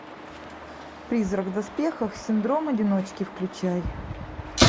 призрак в доспехах синдром одиночки включай